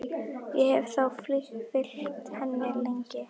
Ég hef þá fylgt henni lengi.